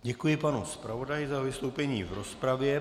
Děkuji panu zpravodaji za vystoupení v rozpravě.